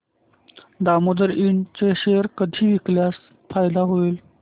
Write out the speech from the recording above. दामोदर इंड चे शेअर कधी विकल्यास फायदा होईल